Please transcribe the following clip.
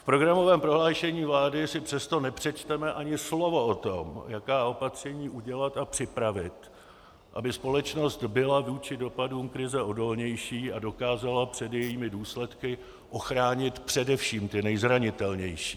V programovém prohlášení vlády si přesto nepřečteme ani slovo o tom, jaká opatření udělat a připravit, aby společnost byla vůči dopadům krize odolnější a dokázala před jejími důsledky ochránit především ty nejzranitelnější.